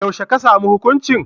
Yaushe aka samu hukuncin?